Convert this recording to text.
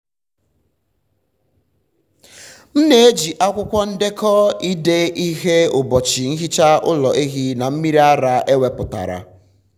m na-eji akwụkwọ ndekọ ide ihe ụbọchị nhicha ụlọ ehi na mmiri ara ewepụtara.